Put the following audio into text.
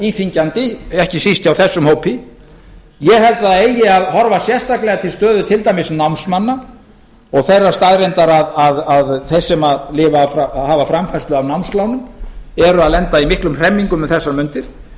íþyngjandi ekki síst hjá þessum hópi ég held að það eigi að horfa sérstaklega til stöðu til dæmis námsmanna og þeirrar staðreyndar að þeir sem hafa framfærslu af námslánum eru að lenda í miklum hremmingum um þessar mundir liður